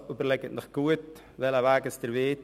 Also überlegen Sie sich gut, welchen Weg Sie wählen.